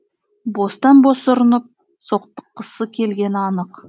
бостан бос ұрынып соқтыққысы келгені анық